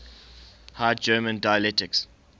high german dialects